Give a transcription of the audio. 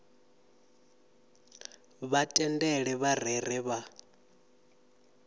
vha tendele vha rere vha